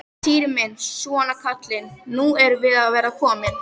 Týri minn, svona kallinn, nú erum við að verða komin.